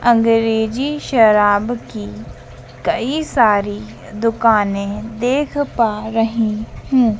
अंग्रेजी शराब की कई सारी दुकाने देख पा रही हूं।